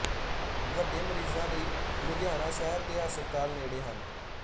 ਵੱਡੇ ਮਰੀਜਾਂ ਲਈ ਲੁਧਿਆਣਾ ਸ਼ਹਿਰ ਦੇ ਹਸਪਤਾਲ ਨੇੜੇ ਹਨ